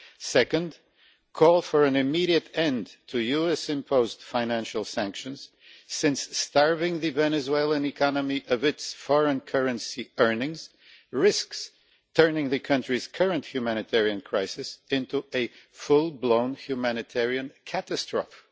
second, call for an immediate end to US imposed financial sanctions, since starving the Venezuelan economy of its foreign currency earnings risks turning the country's current humanitarian crisis into a full-blown humanitarian catastrophe